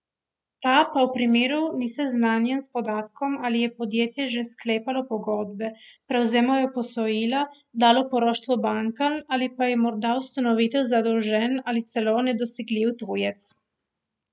Ta pa v tem primeru ni seznanjen s podatkom, ali je podjetje že sklepalo pogodbe, prevzemalo posojila, dalo poroštvo bankam ali pa je morda ustanovitelj zadolžen ali celo nedosegljiv tujec.